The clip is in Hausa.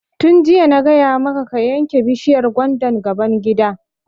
Tun jiya na gaya maka ka yanke bishiyar gwandan gaban gida!